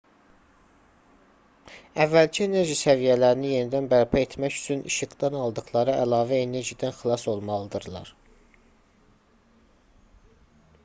əvvəlki enerji səviyyələrini yenidən bərpa etmək üçün işıqdan aldıqları əlavə enerjidən xilas olmalıdırlar